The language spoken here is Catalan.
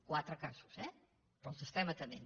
quatre casos eh però els estem atenent